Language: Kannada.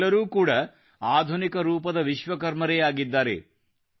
ಇವರೆಲ್ಲರೂ ಕೂಡಾ ಆಧುನಿಕ ರೂಪದ ವಿಶ್ವಕರ್ಮರೇ ಆಗಿದ್ದಾರೆ